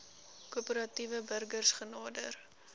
korporatiewe burgers genader